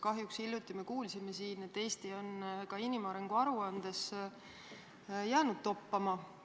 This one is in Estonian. Kahjuks kuulsime siin hiljuti, et Eesti on ka inimarengu aruandes jäänud toppama.